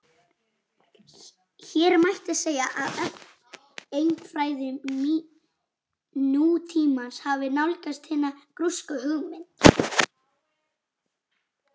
Hér mætti segja að efnafræði nútímans hafi nálgast hina grísku hugmynd.